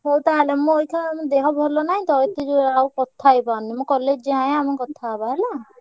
ହଉ ତାହେଲେ ମୁଁ ଅଇଖା ମୋ ଦେହ ଭଲ ନାହିଁ ତ ଏତେ ଯୋ~ ଆଉ କଥା ହେଇପାରୁନି। ମୁଁ college ଯାଏ ଆମେ କଥା ହେବା ହେଲା।